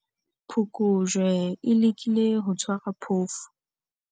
Phokojwe e lekile ho tshwara phofu.